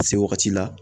Se wagati la